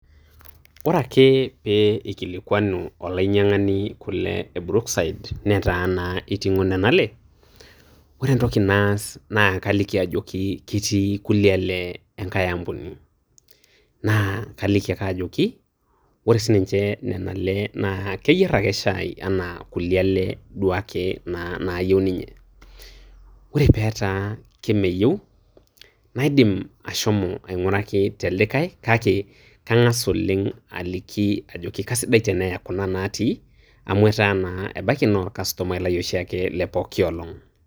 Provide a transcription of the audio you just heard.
Ore ake pee eikilikuanu olainyiang'ani kule e brookside netaa naa eiting'o nenale ore entoki naas naa kaliki ajoki ketii kulie lee enkae ampuni naa kaliki ake ajoki ore siininche nena lee naa keyier ake shaai enaa kulie lee duake naa nayieu ninye ore peetaa kemeyieu naidim ashomo aing'uraki telikae kake kang'a aliki ajoki kaisidai teneya kuna natii amu etaa naa ebaiki naa orkastumai lai oshiake lepooki olong.